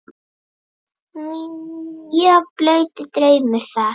Mjög blautur draumur það.